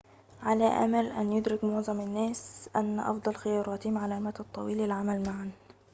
على أمل أن يُدرك معظم الناس أن أفضل خياراتهم على المدى الطويل العمل معاً